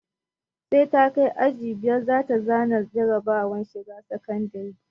Sai ta kai aji biyar za ta za na jarabawar shiga sakandire